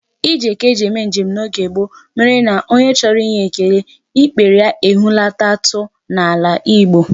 Ije ka e ji eme njem n'oge gboo mere na onye chọrọ inye ekele, ikpere ya ehulatatụ n'ala Igbo.